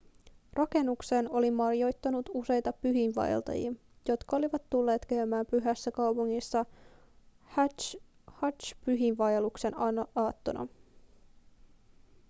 rakennukseen oli majoittunut useita pyhiinvaeltajia jotka olivat tulleet käymään pyhässä kaupungissa hadž-pyhiinvaelluksen aattona